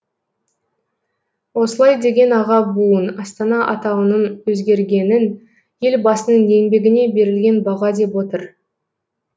осылай деген аға буын астана атауының өзгергенін елбасының еңбегіне берілген баға деп отыр